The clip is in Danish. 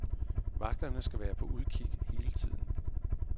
Vagterne skal være på udgik hele tiden.